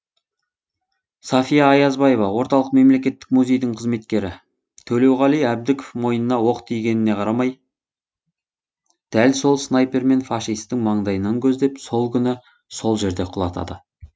сафия аязбаева орталық мемлекеттік музейдің қызметкері төлеуғали әбдібеков мойнына оқ тигеніне қарамай дәл сол снайпермен фашистің маңдайынан көздеп сол күні сол жерде құлатады